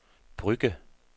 Brugge